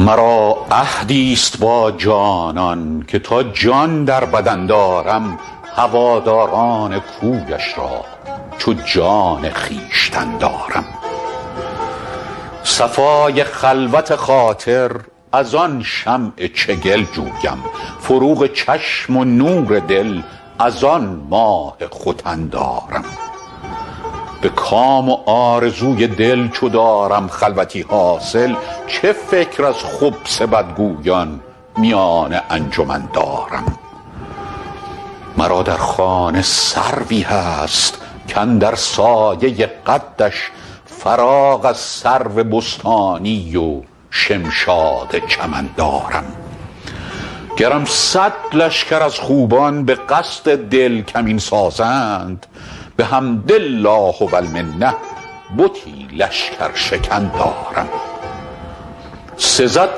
مرا عهدی ست با جانان که تا جان در بدن دارم هواداران کویش را چو جان خویشتن دارم صفای خلوت خاطر از آن شمع چگل جویم فروغ چشم و نور دل از آن ماه ختن دارم به کام و آرزوی دل چو دارم خلوتی حاصل چه فکر از خبث بدگویان میان انجمن دارم مرا در خانه سروی هست کاندر سایه قدش فراغ از سرو بستانی و شمشاد چمن دارم گرم صد لشکر از خوبان به قصد دل کمین سازند بحمد الله و المنه بتی لشکرشکن دارم سزد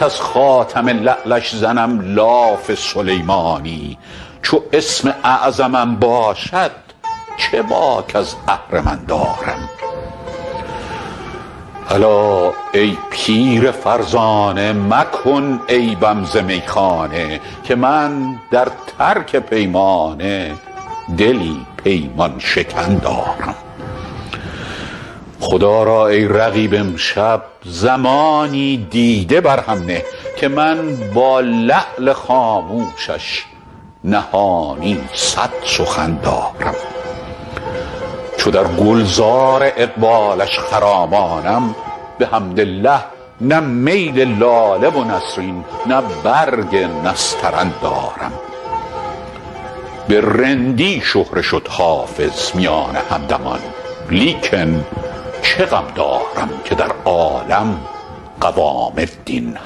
کز خاتم لعلش زنم لاف سلیمانی چو اسم اعظمم باشد چه باک از اهرمن دارم الا ای پیر فرزانه مکن عیبم ز میخانه که من در ترک پیمانه دلی پیمان شکن دارم خدا را ای رقیب امشب زمانی دیده بر هم نه که من با لعل خاموشش نهانی صد سخن دارم چو در گل زار اقبالش خرامانم بحمدالله نه میل لاله و نسرین نه برگ نسترن دارم به رندی شهره شد حافظ میان همدمان لیکن چه غم دارم که در عالم قوام الدین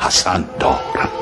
حسن دارم